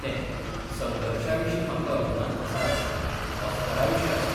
तेंः संघर्शा विशीं म्हाका अभिमान आसाच ऑस्करा विशय आसा.